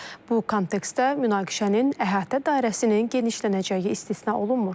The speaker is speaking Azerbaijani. Bu kontekstdə münaqişənin əhatə dairəsinin genişlənəcəyi istisna olunmur.